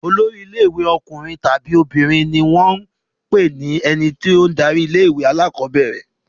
Olórí ilé-ìwé ọkùnrin tàbí obìnrin ni ó wọ́n ń pe ẹni tó ń darí ilé-ìwé alákọ̀ọ́bẹ̀rẹ̀.